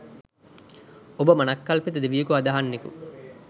ඔබ මනංකල්පිත දෙවියෙකු අදහන්නෙකු